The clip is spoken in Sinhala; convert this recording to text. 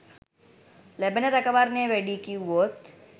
ලැබෙන රැකවරණය වැඩියි කිව්වොත්?